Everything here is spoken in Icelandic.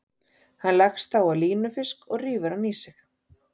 Hann leggst þá á línufisk og rífur hann í sig.